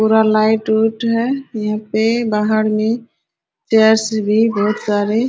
पूरा लाइट उट है यहां पे बाहर में चेयर्स भी बहुत सारे --